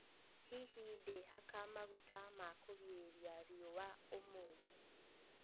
Hihi ndĩhaka maguta ma kugĩrirĩa riũa ũmũthĩ?